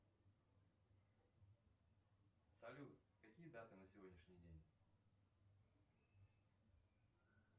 салют какие даты на сегодняшний день